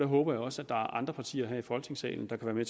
håber også at der er andre partier her i folketingssalen der kan være